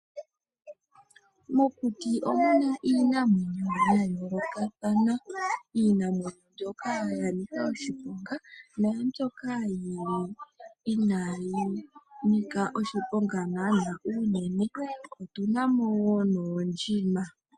Mokuti omu na iinamwenyo ya yoolokathana. Iinamwenyo mbyoka ya nika oshiponga naambyoka yi li inayi nika oshiponga naanaa unene. Otu na mo wo noondjima.